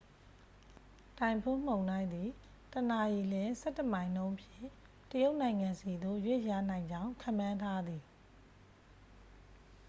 တိုင်ဖွန်းမုန်တိုင်းသည် တစ်နာရီလျှင် ဆယ့်တစ်မိုင်နှုန်းဖြင့် တရုတ်နိုင်ငံဆီသို့ ရွေ့လျားနိုင်ကြောင်း ခန့်မှန်းထားသည်